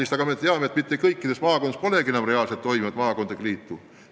Samas me teame, et kõikides maakondades polegi enam reaalselt tegutsevat maakondlikku liitu.